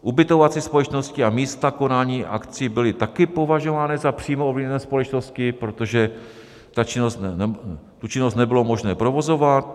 Ubytovací společnosti a místa konání akcí byly taky považovány za přímo ovlivněné společnosti, protože tu činnost nebylo možné provozovat.